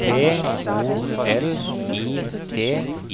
P O L I T